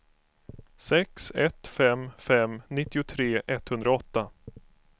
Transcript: sex ett fem fem nittiotre etthundraåtta